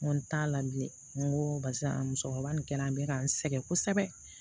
N ko n t'a la bilen n ko barisa musokɔrɔba nin kɛra an bɛ ka n sɛgɛn kosɛbɛ